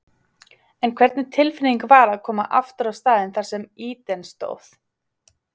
En hvernig tilfinning var að koma aftur á staðinn þar sem Eden stóð?